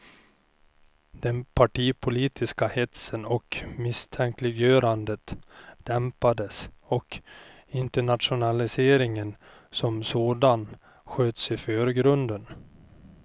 Den partipolitiska hetsen och misstänkliggörandet dämpades och internationaliseringen som sådan sköts i förgrunden.